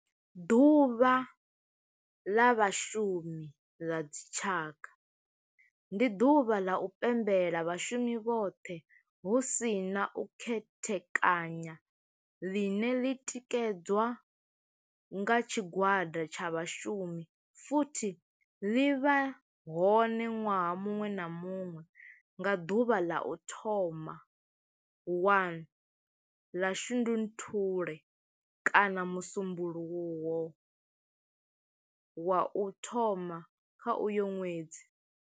Ḓuvha ḽa vhashumi ḽa dzi tshaka, ndi duvha ḽa u pembela vhashumi vhothe hu si na u khethekanya ḽine ḽi tikedzwa nga tshigwada tsha vhashumi futhi ḽi vha hone nwaha munwe na munwe nga duvha ḽa u thoma 1 ḽa Shundunthule kana musumbulowo wa u thoma kha uyo nwedzi.